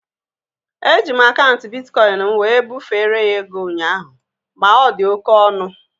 Eji m akaụntụ bitkọin m wee bufere ya ego ụnyaahụ ma ọ dị oké ọnụ